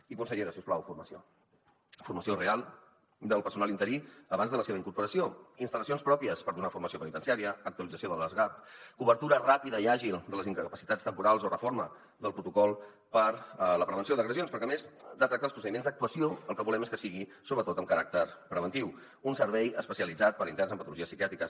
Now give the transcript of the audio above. i consellera si us plau formació formació real del personal interí abans de la seva incorporació instal·lacions pròpies per donar formació penitenciària actualització de les gap cobertura ràpida i àgil de les incapacitats temporals o reforma del protocol per a la prevenció d’agressions perquè a més de tractar els procediments d’actuació el que volem és que sigui sobretot amb caràcter preventiu un servei especialitzat per a interns amb patologies psiquiàtriques